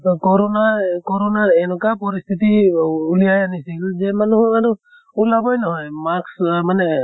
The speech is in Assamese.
ব কৰʼণাই কৰʼণাই এন্কা পৰিস্থিতি অহ ওলাইয়াই আনিছিল যে মানুহ মানু ওলাবৈ নহয় mask আহ মানে